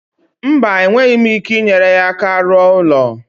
Mba, enweghị m ike inyere ha aka rụọ ụlọ.